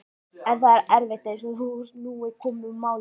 En það er erfitt, eins og nú er komið málum.